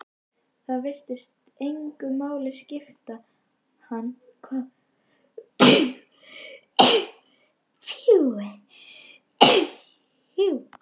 Það virtist engu máli skipta hann hvað viðmælandi hans segði.